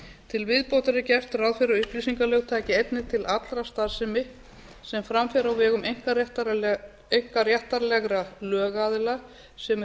til viðbótar er gert ráð fyrir að upplýsingalög taki einnig til allrar starfsemi sem fram fer á vegum einkaréttarlegra lögaðila sem eru